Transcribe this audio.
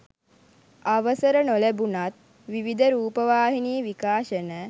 අවසර නොලැබුණත් විවිධ රූපවාහිනි විකාශන